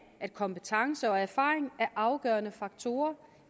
at kompetence og erfaring er afgørende faktorer